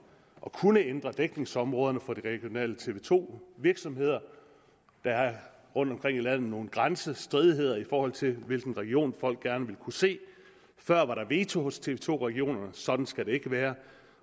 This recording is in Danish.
kunne ændre dækningsområderne for de regionale tv to virksomheder der er rundtomkring i landet nogle grænsestridigheder i forhold til hvilken region folk gerne vil kunne se før var der veto hos tv to regionerne sådan skal det ikke være